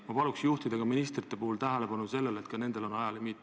Ma palun juhtida ministrite tähelepanu sellele, et ka nendel on ajalimiit.